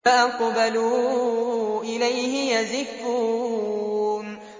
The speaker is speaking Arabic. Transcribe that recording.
فَأَقْبَلُوا إِلَيْهِ يَزِفُّونَ